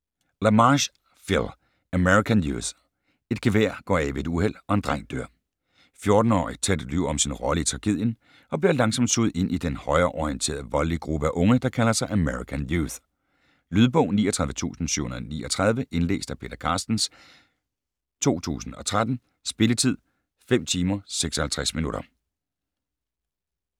LaMarche, Phil: American Youth Et gevær går af ved et uheld, og en dreng dør. 14-årige Ted lyver om sin rolle i tragedien, og bliver langsomt suget ind i den højreorienterede, voldelige gruppe af unge, der kalder sig American Youth. Lydbog 39739 Indlæst af Peter Carstens, 2013. Spilletid: 5 timer, 56 minutter.